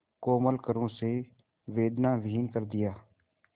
कोमल करों से वेदनाविहीन कर दिया